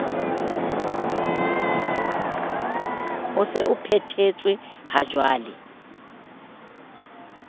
o se o phethetswe hajwale